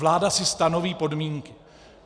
Vláda si stanoví podmínky.